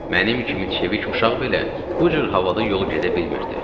Mənim kimi çevik uşaq belə bu cür havada yol gedə bilmirdi.